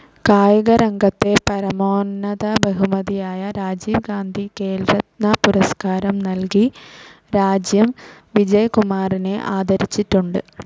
കായിക രംഗത്തെ പരമോന്നത ബഹുമതിയായ രാജീവ് ഗാന്ധി ഖേൽരക്ന പുരസ്കാരം നൽകി രാജ്യം വിജയ് കുമാറിനെ ആദരിച്ചിട്ടുണ്ട്